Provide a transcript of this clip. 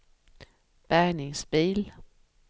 bärgningsbil